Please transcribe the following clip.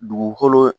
Dugukolo